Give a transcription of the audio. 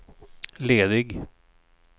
ledig